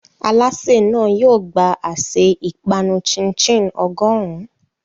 Alásè náà yóò gba àsè ìpanu chin-chin ọgọ́rùn-ún.